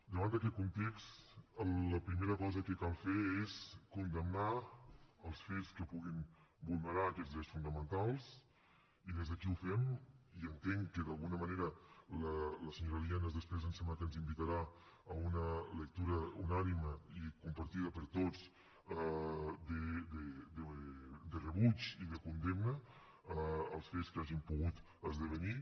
davant d’aquest context la primera cosa que cal fer és condemnar els fets que puguin vulnerar aquests drets fonamentals i des d’aquí ho fem i entenc que d’alguna manera la senyora lienas després em sembla que ens invitarà a una lectura unànime i compartida per tots de rebuig i de condemna als fets que hagin pogut esdevenir